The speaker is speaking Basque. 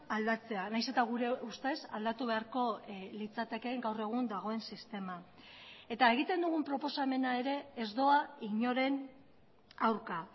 aldatzea nahiz eta gure ustez aldatu beharko litzatekeen gaur egun dagoen sistema eta egiten dugun proposamena ere ez doa inoren aurka